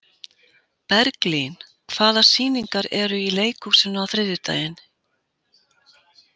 Berglín, hvaða sýningar eru í leikhúsinu á þriðjudaginn?